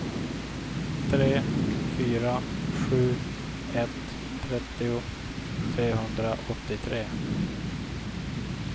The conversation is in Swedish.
tre fyra sju ett trettio trehundraåttiotre